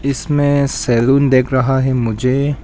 इसमें सैलून देख रहा है मुझे--